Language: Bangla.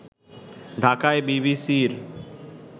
ঢাকায় বিবিসির